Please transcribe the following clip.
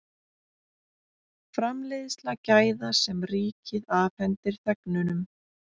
Framleiðsla gæða sem ríkið afhendir þegnunum